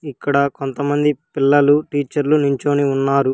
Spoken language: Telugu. ఇక్కడ కొంతమంది పిల్లలు టీచర్లు నించొని ఉన్నారు.